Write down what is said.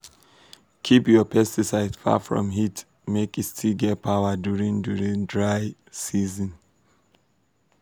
keep your pesticide far from heat make e still get power during during dry season.